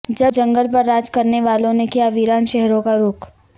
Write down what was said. جب جنگل پر راج کرنے والوں نے کیا ویران شہروں کا رخ